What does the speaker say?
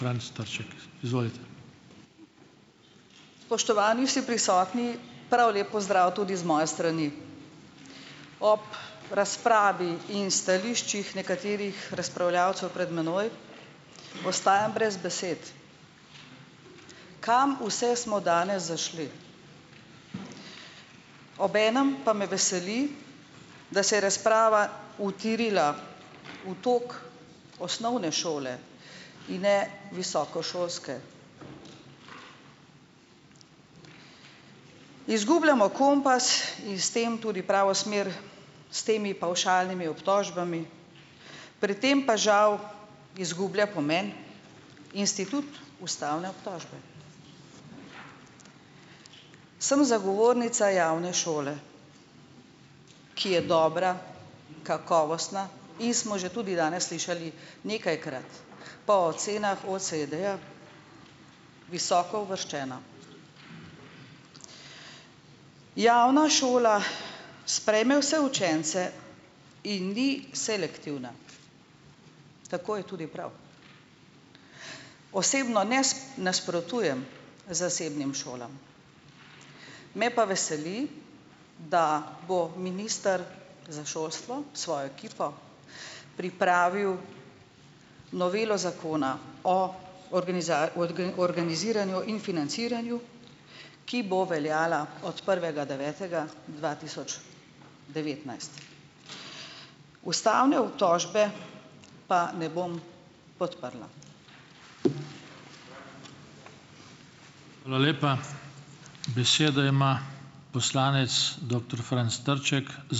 Spoštovani vsi prisotni, prav lep pozdrav tudi z moje strani. Ob razpravi in stališčih nekaterih razpravljavcev pred mano, ostajam brez besed. Kam vse smo danes zašli. Ob enem pa me veseli, da se je razprava utirila v tako osnovne šole in visokošolske. Izgubljamo kompas in s tem tudi pravo smer s temi pavšalnimi obtožbami, pri tem pa žal izgublja pomen institut ustavne obtožbe. Sem zagovornica javne šole, ki je dobra, kakovostna in smo že tudi danes slišali nekajkrat po ocenah OECD-ja, visoko uvrščena. Javna šola sprejme vse učence in ni selektivna, tako je tudi prav. Osebno nasprotujem zasebnim šolam, me pa veseli, da bo minister za šolstvo svojo ekipo pripravil novelo Zakona o organiziranju in financiranju, ki bo veljala od prvega devetega dva tisoč devetnajst. Ustavne obtožbe pa ne bom podprla.